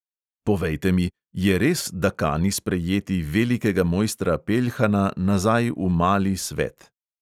Povejte mi, je res, da kani sprejeti velikega mojstra peljhana nazaj v mali svet?